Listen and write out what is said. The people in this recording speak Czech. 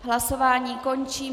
Hlasování končí.